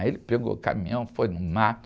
Aí ele pegou o caminhão, foi no mato.